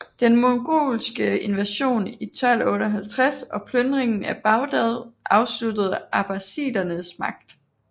Den mongolske invasion i 1258 og plyndring af Bagdad afsluttede abbasidernes magt